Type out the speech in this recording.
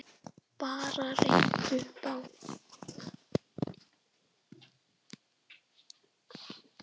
Bara rekið upp Á!